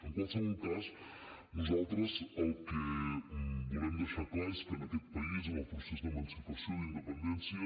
en qualsevol cas nosaltres el que volem deixar clar és que en aquest país en el procés d’emancipació d’independència